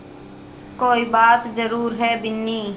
कोई बात ज़रूर है बिन्नी